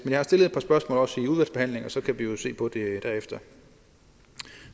jeg har stillet et par spørgsmål også i udvalgsbehandlingen og så kan vi jo se på det derefter